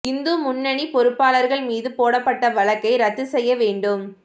இந்து முன்னணி பொறுப்பாளா்கள் மீது போடப்பட்ட வழக்கை ரத்து செய்ய வேண்டும்